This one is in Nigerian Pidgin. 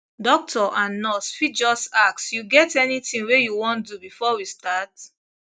doctor and nurse fit just ask you get anything wey you wan do before we start